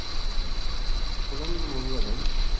குளம் முழுவதும்